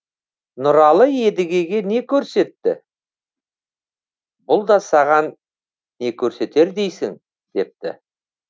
нұралы едігеге не көрсетті бұл да саған не көрсетер дейсің депті